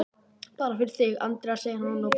Bara fyrir þig, Andrea, segir hann og brosir.